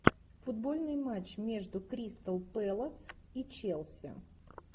футбольный матч между кристал пэлас и челси